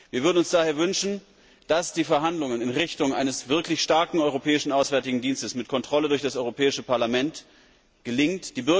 Wir würden uns daher wünschen, dass die Verhandlungen in Richtung eines wirklich starken Europäischen Auswärtigen Dienstes mit Kontrolle durch das Europäische Parlament gelingen.